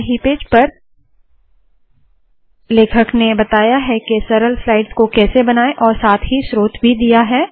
पहले ही पेज पर लेखक ने बताया है के सरल स्लाइड्स को कैसे बनाए और साथ ही स्रोत भी दिया है